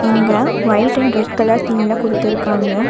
இங்க white and red colour தீம்ல குடுத்துருக்காங்க.